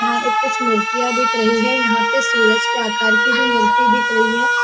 यहाँ एक कुछ मूर्तियाँ दिख रही है यहाँ पे सूरज के आकर के भी मूर्तिया दिख रही है।